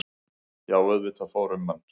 Já auðvitað fór um mann.